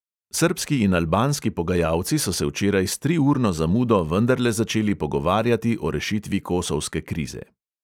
Srbski in albanski pogajalci so se včeraj s triurno zamudo vendarle začeli pogovarjati o rešitvi kosovske krize.